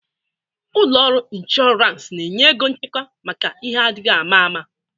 Ụlọ ọrụ inshọrans na-enye ego nchekwa maka ihe adịghị ama ama.